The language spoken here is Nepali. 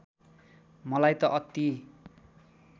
मलाई त अति